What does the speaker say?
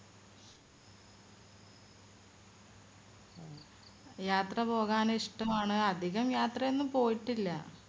യാത്ര പോകാൻ ഇഷ്ടമാണ് അധികം യാത്ര ഒന്നും പോയിട്ടില്ല